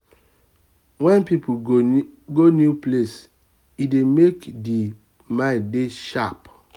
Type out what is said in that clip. when person go new place e e dey made di mimd dey sharp